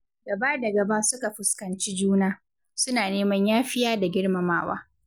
Gaba da gaba suka fuskanci juna, suna neman yafiya da girmamawa.